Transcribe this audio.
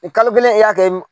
kalo kelen e y'a kɛ min ?